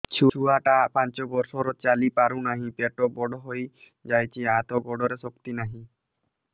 ଛୁଆଟା ପାଞ୍ଚ ବର୍ଷର ଚାଲି ପାରୁ ନାହି ପେଟ ବଡ଼ ହୋଇ ଯାଇଛି ହାତ ଗୋଡ଼ରେ ଶକ୍ତି ନାହିଁ